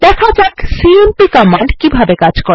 দেখা যাক সিএমপি কিভাবে কাজ করে